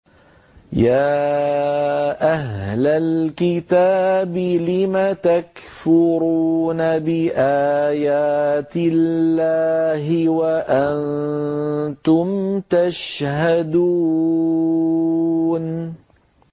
يَا أَهْلَ الْكِتَابِ لِمَ تَكْفُرُونَ بِآيَاتِ اللَّهِ وَأَنتُمْ تَشْهَدُونَ